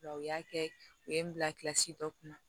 U y'a kɛ u ye n bila kilasi dɔ kun na